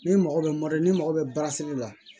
Ni mago bɛ morɛ n'i mago bɛ baara seli la